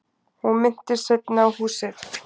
Hún minntist seinna á húsið.